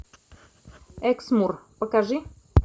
эксмур покажи